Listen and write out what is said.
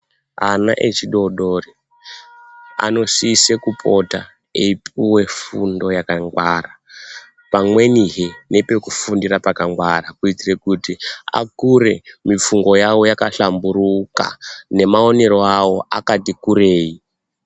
Ana echidodori anosise kupota eipuwe fundo yakangwara, pamwenihe nepekufundira pakangwara, kuitire kuti akure mifungo yawo yakahlamburuka, nemaonero awo akatikurei.